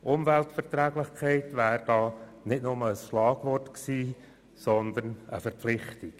Umweltverträglichkeit wäre da nicht nur ein Schlagwort gewesen, sondern eine Verpflichtung.